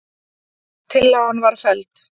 Tillagan var felld